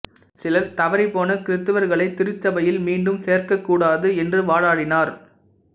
சிலர் தவறிப்போன கிறித்தவர்களைத் திருச்சபையில் மீண்டும் சேர்க்கக்கூடாது என்று வாதாடினர்